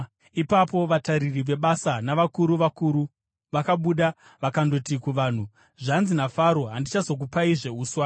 Ipapo vatariri vebasa navakuru vakuru vakabuda vakandoti kuvanhu, “Zvanzi naFaro, ‘Handichazokupaizve uswa.